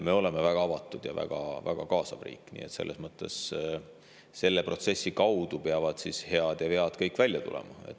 Me oleme väga avatud ja väga-väga kaasav riik, nii et selle protsessi kaudu peavad kõik head ja vead välja tulema.